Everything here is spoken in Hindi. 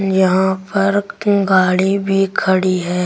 यहां पर गाड़ी भी खड़ी है।